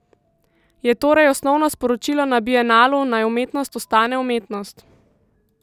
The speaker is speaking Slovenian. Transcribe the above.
Je torej osnovno sporočilo na bienalu, naj umetnost ostane umetnost?